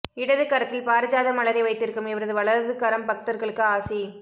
இடது கரத்தில் பாரிஜாத மலரை வைத்திருக்கும் இவரது வலது கரம் பக்தர்களுக்கு ஆசி